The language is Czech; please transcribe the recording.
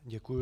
Děkuji.